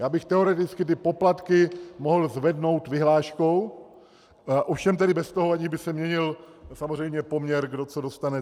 Já bych teoreticky ty poplatky mohl zvednout vyhláškou, ovšem tedy bez toho, že by se měnil samozřejmě poměr, kdo co dostane.